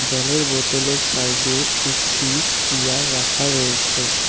জলের বোতলের সাইডে একটি চেয়ার রাখা রয়েছে।